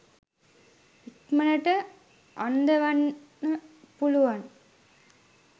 ඉක්මනට අන්දවන්න පුළුවන්.